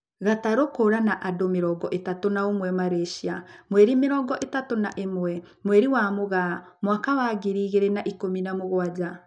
Gatarũ kũra na andũ mĩrongo ĩtatũ na ũmwe Malysia, mweri mĩrongo ĩtatu na ĩmwe, mweri wa mũgaa mwaka wa ngiri igĩrĩ na ikũmi na mũgwanja.